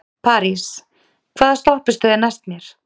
París, hvaða stoppistöð er næst mér?